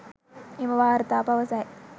එම වාර්තා පවසයි